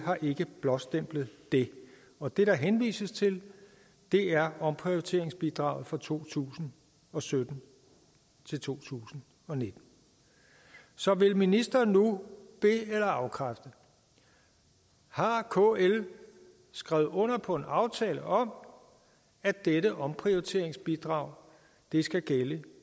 har ikke blåstemplet det det der henvises til er omprioriteringsbidraget fra to tusind og sytten til to tusind og nitten så vil ministeren nu be eller afkræfte har kl skrevet under på en aftale om at dette omprioriteringsbidrag skal gælde